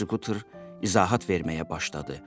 deyə ekzekutor izahat verməyə başladı.